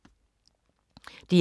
DR1